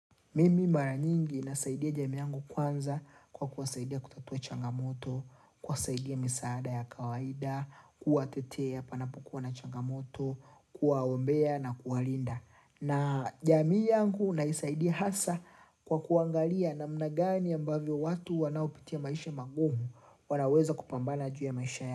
Mimi mara nyingi nasaidia jamii yangu kwanza kwa kuwasaidia kutatua changamoto, kuwasaidia misaada ya kawaida, kuwatetea panapokuwa na changamoto, kuwaombea na kuwalinda. Na jamii yangu naisaidia hasa kwa kuangalia namna gani ambavyo watu wanaupitia maisha magumu wanaweza kupambana juu ya maisha ya.